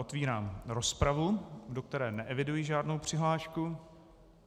Otevírám rozpravu, do které neeviduji žádnou přihlášku.